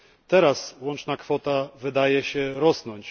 Teraz łączna kwota wydaje się wzrastać.